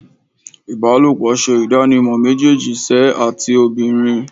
Ibalopo ṣe idanimọ mejeeji ṣe ati obinrin